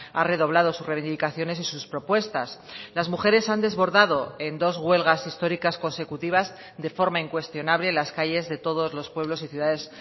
ha redoblado sus reivindicaciones y sus propuestas las mujeres han desbordado en dos huelgas históricas consecutivas de forma incuestionable las calles de todos los pueblos y ciudades